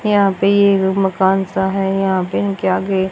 यहां पे ये मकान सा है यहां पे इनके आगे--